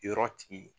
Yɔrɔ tigi